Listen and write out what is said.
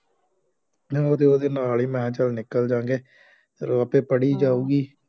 ਨਾ ਉਹਦੇ ਉਹਦੇ ਨਾਲ ਹੀ ਮੈਂ ਕਿਹਾ ਚੱਲ ਨਿਕਲ ਜਾਂ ਗੇ, ਚੱਲੋ ਆਪੇ ਪੜ੍ਹੀ ਜਾਊਗੀ